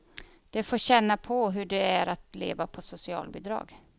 De får känna på hur det är att leva på socialbidrag.